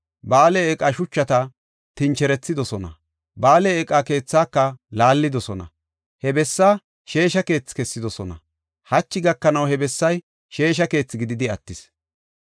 Ba7aale eeqa shuchata tincherethidosona; Ba7aale eeqa keethaaka laallidosona. He bessaa sheesha keethi kessidosona; hachi gakanaw he bessay sheesha keethi gididi attis.